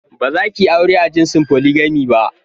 Bazakiyi aure a jinsin "polygamy " ba.